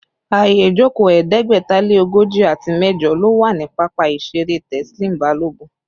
Ààyè ìjókòó ẹ̀ẹ́dẹ́gbẹ̀ta lé ogójì àti mẹ́jọ ló wà ní pápá ìṣeré Teslim Balogun